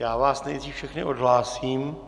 Já vás nejdřív všechny odhlásím.